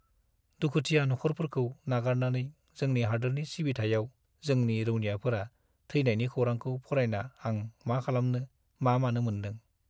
दुखुथिया नखरफोरखौ नागारनानै जोंनि हादोरनि सिबिथाइयाव जोंनि रौनियाफोरा थैनायनि खौरांखौ फरायना आं मा खालामनो- मा मानो मोन्दों।